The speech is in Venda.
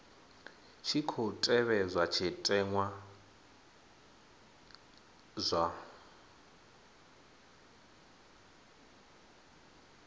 tshi khou tevhedzwa zwitenwa zwa